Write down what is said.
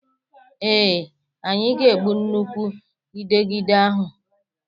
Ee, anyị ga-egbu nnukwu Ịdegịde ahụ